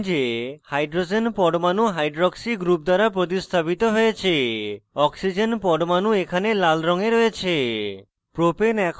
লক্ষ্য করুন যে hydrogen পরমাণু hydroxy group দ্বারা প্রতিস্থাপিত হয়েছে oxygen পরমাণু এখানে লাল রঙে রয়েছে